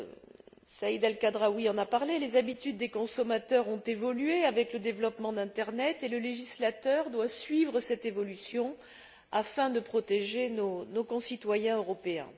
Comme Saïd El Khadraoui l'a dit, les habitudes des consommateurs ont évolué avec le développement de l'internet et le législateur doit suivre cette évolution afin de protéger nos concitoyens européens.